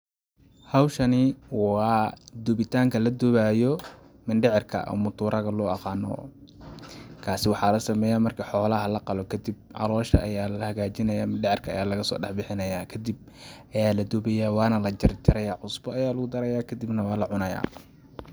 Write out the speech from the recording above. Hawshani waa dubitaanka la dubaayo mindhicirka ama muturaaga loo aqaaano ,kaasi waxaa la sameyaa marki xoolaha la qalo kadib caloosha ayaa la hagajinayaa ,mindhicirka ayaa lagasoo dhax bixinayaa kadib ayaa la dubiyaa waana la jarjarayaa ,cusbo ayaa lagu darayaa kadub na waa la cunayaa.